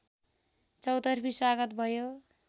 चौतर्फी स्वागत भयो